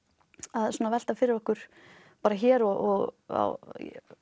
að velta fyrir okkur hér og á